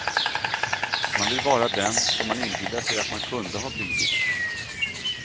Man vill vara den som man inbillar sig att man kunde ha blivit.